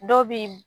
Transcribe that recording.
Dɔw bi